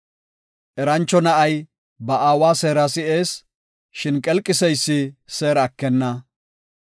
Erancho na7ay ba aawa seera si7ees; shin qelqiseysi seera ekenna.